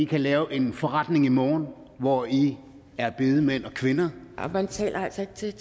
kan lave en forretning i morgen hvor i er bedemænd og kvinder man taler altså ikke til